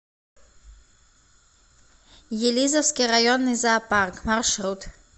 елизовский районный зоопарк маршрут